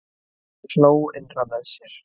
Hann hló innra með sér.